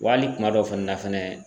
Wa hali kuma dɔw fɛnɛ na fɛnɛ